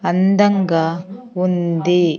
అందంగా ఉంది.